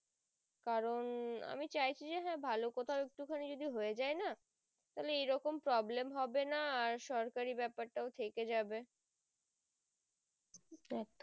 কারণ আমি চাইছি যে হ্যাঁ ভালো কোথাও হয়ে যাই না তাহলে এরকম problem হবে না আর সরকারি ব্যাপার টাও থেকে যাবে একদম